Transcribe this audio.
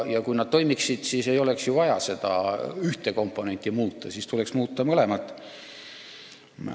Ja kui nad toimiksid ühtmoodi, siis ei oleks ju vaja seda ühte komponenti muuta, siis tuleks muuta mõlemat.